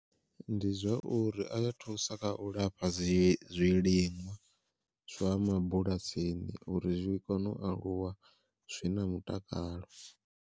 Ndi zwa uri a ya thusa kha u lafha dzi zwiliṅwa zwa mabulasini uri zwi kone u aluwa zwi na mutakalo.